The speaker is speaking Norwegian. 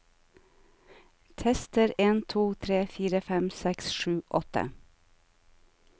Tester en to tre fire fem seks sju åtte